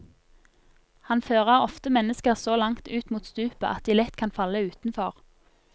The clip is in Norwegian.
Han fører ofte mennesker så langt ut mot stupet at de lett kan falle utenfor.